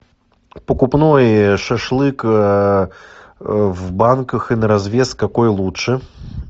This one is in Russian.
покупной шашлык в банках и на развес какой лучше